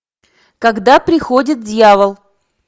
когда приходит дьявол